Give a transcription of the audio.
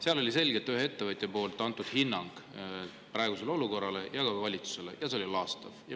Seal andis üks ettevõtja hinnangu praegusele olukorrale ja ka valitsusele ja see oli laastav.